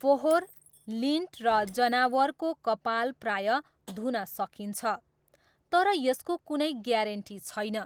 फोहोर, लिन्ट, र जनावरको कपाल प्रायः धुन सकिन्छ, तर यसको कुनै ग्यारेन्टी छैन।